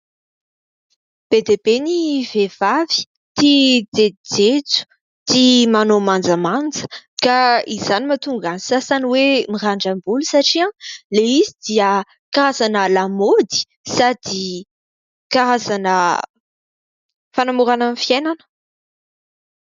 Be dia be ny vehivavy tia jejojejo; tia manao manjamanja, ka izany mahatonga ny sasany hoe mirandram-bolo satria ilay izy dia karazana lamaody sady karazana fanamorana ny fiainana.